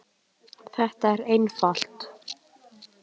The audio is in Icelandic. Þetta er einfalt.